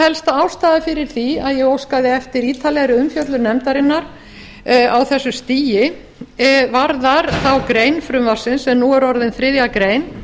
helsta ástæða fyrir því að ég óskaði eftir ítarlegri umfjöllun nefndarinnar á þessu stigi varðar þá grein frumvarpsins sem nú er orðin þriðja grein